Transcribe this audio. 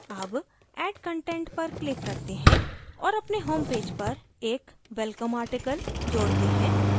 add add content पर click करते हैं और अपने homepage पर एक welcome article जोड़ते हैं